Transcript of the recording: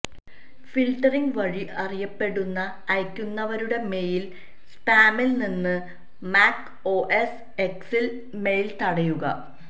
filtering വഴി അറിയപ്പെടുന്ന അയയ്ക്കുന്നവരുടെ മെയിൽ സ്പാമിൽ നിന്ന് മാക് ഓഎസ് എക്സ് മെയിൽ തടയുക